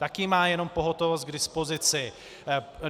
Taky má jenom pohotovost k dispozici.